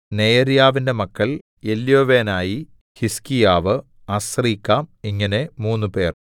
നെയര്യാവിന്‍റെ മക്കൾ എല്യോവേനായി ഹിസ്കീയാവ് അസ്രീക്കാം ഇങ്ങനെ മൂന്നുപേർ